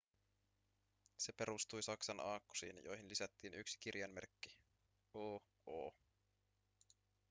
se perustui saksan aakkosiin joihin lisättiin yksi kirjainmerkki: õ/õ